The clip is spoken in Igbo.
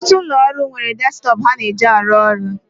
Ọtụtụ ụlọ ọrụ nwere desktọpụ ha na-eji na arụ ọrụ